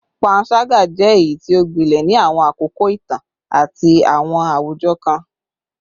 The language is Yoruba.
Panṣaga jẹ eyiti o gbilẹ ni awọn akoko itan ati awọn awujọ kan